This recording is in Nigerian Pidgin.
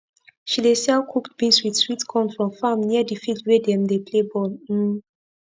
she dey sell cooked beans with sweet corn from farm near d field wey dem dey play ball um